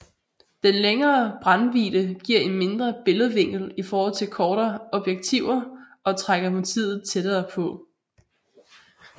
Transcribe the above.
Den længere brændvidde giver en mindre billedvinkel i forhold til kortere objektiver og trækker motivet tættere på